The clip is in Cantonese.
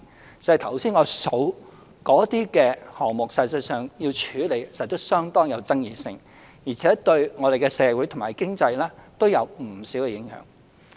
光是我剛才數出的項目，實際上處理時都有相當爭議，而且對我們的社會和經濟都有不少影響。